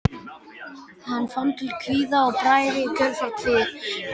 Hann fann til kvíða og bræði í kjölfar kvíðans.